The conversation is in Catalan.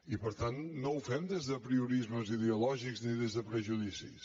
i per tant no ho fem des d’apriorismes ideològics ni des de prejudicis